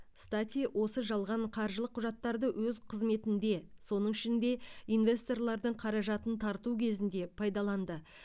стати осы жалған қаржылық құжаттарды өз қызметінде соның ішінде инвесторлардың қаражатын тарту кезінде пайдаланды